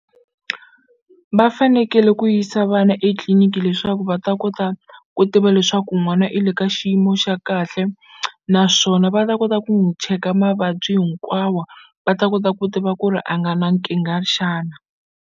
Va fanekele ku yisa vana etliliniki leswaku va ta kota ku tiva leswaku n'wana i le ka xiyimo xa kahle naswona va ta kota ku n'wu cheka mavabyi hinkwawa va ta kota ku tiva ku ri a nga na nkingha xana?